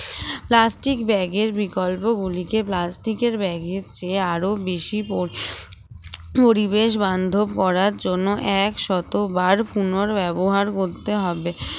plastic bag এর বিকল্প গুলিতে plastic এর bag এর চেয়ে আরো বেশি পরিবেশবান্ধব করার জন্য একশতবার পুনর্ব্যবহার বলতে হবে